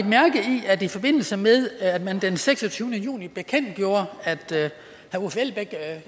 at i forbindelse med at man den seksogtyvende juni bekendtgjorde